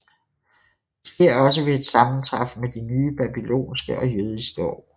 Det sker også ved et sammentræf med de nye babylonske og jødiske år